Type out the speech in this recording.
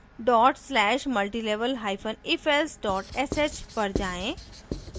dot slash multilevel hyphen ifelse dot sh पर जाएँ